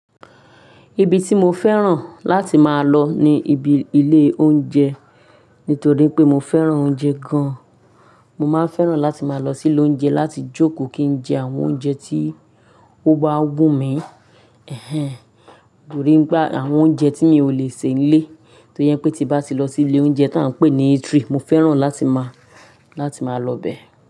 Ibi tí mo fẹ́ràn láti máa lọ ni ibi ilé oúnjẹ, nítorí pé mo fẹ́ràn oúnjẹ gan. Mo máa fẹ́ràn láti máa lọ sí ilé oúnjẹ láti jókòó kí n jẹ àwọn oúnjẹ tí ó bá wù mí, ẹ̀hẹ̀n ẹ̀hẹ̀n gbòórí ń gba àwọn oúnjẹ tí mi ò lè ṣe nílé. Toye ẹ́ pé tí bá ti lọ sí ilé oúnjẹ tí à ń pè ní eatery, mo fẹ́ràn láti máa, láti máa lọ bẹ́ẹ̀